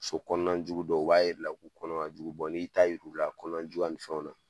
So kɔnɔna jugu dɔw u b'a yiri la, k'u kɔnɔ ka jugu n'i y'u ta yir'u la kɔnɔnajuguya ni fɛnw na